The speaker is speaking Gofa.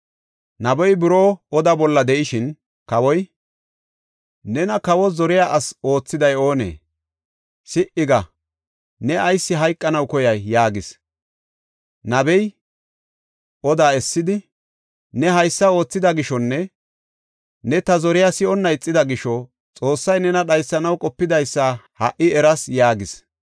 Nabey buroo oda bolla de7ishin kawoy, “Nena kawo zoriya asi oothiday oonee? Si77i ga! Ne ayis hayqanaw koyay?” yaagis. Nabey odaa essidi, “Ne haysa oothida gishonne ta zoriya si7onna ixida gisho Xoossay nena dhaysanaw qopidaysa ha77i eras” yaagis.